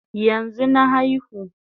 Yanzu na aihu